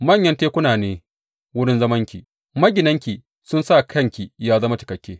Manyan tekuna ne wurin zamanki; maginanki sun sa kyanki ya zama cikakke.